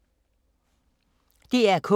DR K